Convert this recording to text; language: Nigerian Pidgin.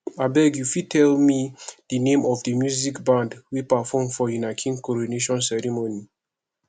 abeg you fit tell me di name of the music band wey perform for una king coronation ceremony